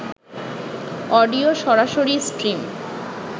audio সরাসরি stream